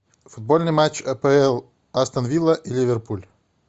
футбольный матч апл астон вилла и ливерпуль